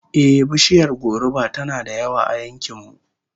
Ehh, bishiyar goruba tana da yawa a yankin mu